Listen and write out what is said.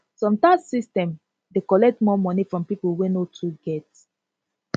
some tax system dey collect more money from pipo wey no too get